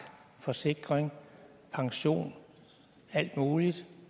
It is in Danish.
forsikring pension alt muligt